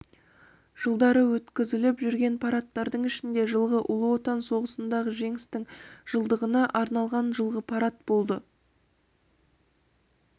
жылдары өткізіліп жүрген парадтардың ішінде жж ұлы отан соғысындағы жеңістің жылдығына арналған жылғы парад болды